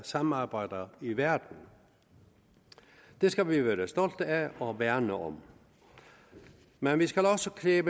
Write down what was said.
samarbejder i verden det skal vi være stolte af og værne om men vi skal også kræve